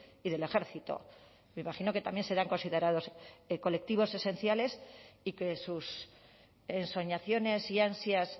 y del ejército me imagino que también serán considerados colectivos esenciales y que sus ensoñaciones y ansias